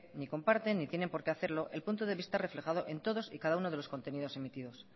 ni comparten ni tienen porque hacerlo el punto de vista reflejado en todos y cada uno de los contenidos emitidos